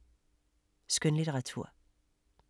Skønlitteratur